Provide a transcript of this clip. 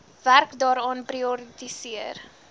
werk daaraan prioritiseer